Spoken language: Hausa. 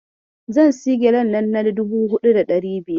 Zan sayi gyalen nan na dubu huɗu da ɗari biyar.